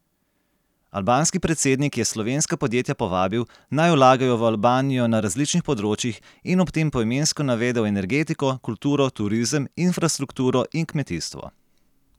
Albanski predsednik je slovenska podjetja povabil, naj vlagajo v Albanijo na različnih področjih in ob tem poimensko navedel energetiko, kulturo, turizem, infrastrukturo in kmetijstvo.